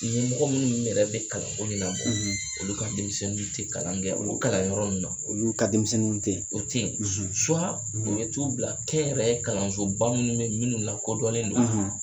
Ɲɛmɔgɔ minnu yɛrɛ bɛ kalan ko ɲanabɔ, , olu ka denmisɛnninw tɛ kalan kɛ o kalan yɔrɔ ninnu na, olu ka denmisɛnninw tɛ yen, o ten. u be t'u bila kɛnyɛrɛye kalanso ba minnu bɛ ,minnu lakɔdɔnnen don.